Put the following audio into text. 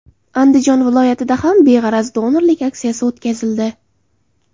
Andijon viloyatida ham beg‘araz donorlik aksiyasi o‘tkazildi.